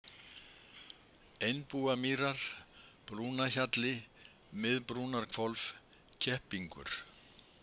Einbúamýrar, Brúnarhjalli, Miðbrúnarhvolf, Keppingur